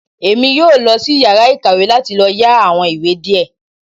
Èmí yóò losí iyàrá ìkàwé láti lò yá àwon ìwé diẹ